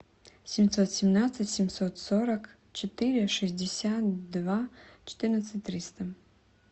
семьсот семнадцать семьсот сорок четыре шестьдесят два четырнадцать триста